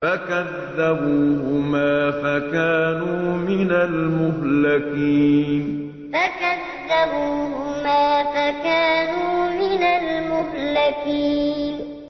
فَكَذَّبُوهُمَا فَكَانُوا مِنَ الْمُهْلَكِينَ فَكَذَّبُوهُمَا فَكَانُوا مِنَ الْمُهْلَكِينَ